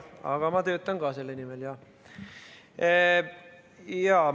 Aga ma töötan ka selle nimel, jah.